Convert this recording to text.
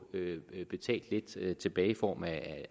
betalt lidt tilbage i form af